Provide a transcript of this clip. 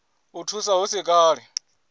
i thusa hu si kale